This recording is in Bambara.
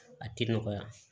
A tɛ nɔgɔya